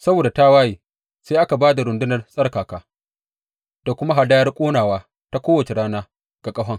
Saboda tawaye, sai aka ba da rundunar tsarkaka da kuma hadayar ƙonawa ta kowace rana ga ƙahon.